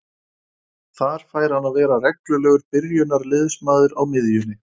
Þar fær hann að vera reglulegur byrjunarliðsmaður á miðjunni.